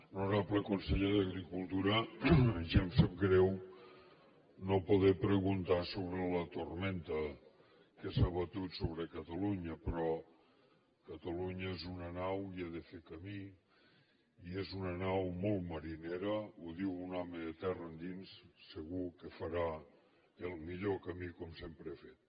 honorable conseller d’agricultura ja em sap greu no poder preguntar sobre la tormenta que s’ha abatut sobre catalunya però catalunya és una nau i ha de fer camí i és una nau molt marinera ho diu un home de terra endins segur que farà el millor camí com sempre ha fet